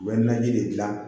U bɛ naji de dilan